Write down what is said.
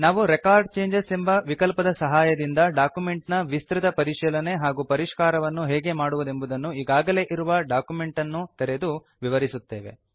ನಾವು record changes ಎಂಬ ವಿಕಲ್ಪದ ಸಹಾಯದಿಂದ ಡಾಕ್ಯುಮೆಂಟ್ ನ ವಿಸ್ತೃತ ಪರಿಶೀಲನೆ ಹಾಗೂ ಪರಿಷ್ಕಾರವನ್ನು ಹೇಗೆ ಮಾಡುವುದೆಂಬುದನ್ನು ಈಗಾಗಲೇ ಇರುವ ಡಾಕ್ಯುಮೆಂಟ್ ಅನ್ನು ತೆರೆದು ವಿವರಿಸುತ್ತೇವೆ